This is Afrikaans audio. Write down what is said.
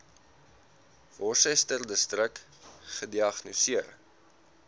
worcesterdistrik gediagnoseer